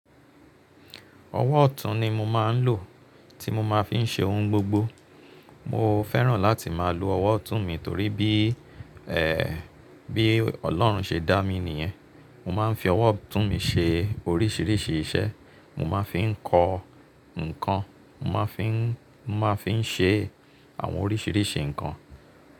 Ọwọ́ ọ̀tún ni mo máa ń lò tí mo máa fi ń ṣe ohun gbogbo. Mo fẹ́ràn láti máa lo ọwọ́ ọ̀tún mi torí bí, ẹ́, bí Ọlọ́run ṣe dá mi nìyẹn. Mo máa ń fi ọwọ́ ọ̀tún mi ṣe oríṣìíríṣìí iṣẹ́, mo máa fi ń kọ nnkan, mo máa fi ń, mo máa fi ń ṣe àwọn oríṣìíríṣìí nǹkan.